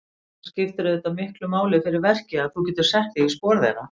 Það skiptir auðvitað miklu máli fyrir verkið að þú getir sett þig í spor þeirra?